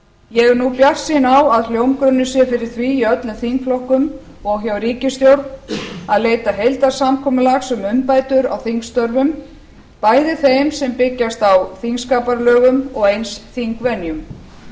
ég er nú bjartsýn á að hljómgrunnur sé fyrir því í öllum þingflokkum og hjá ríkisstjórn að leita heildarsamkomulags um umbætur á þingstörfum bæði þeim sem byggjast á þingskapalögum og eins þingvenjum